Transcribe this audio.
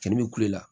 Cɛnni bɛ kulela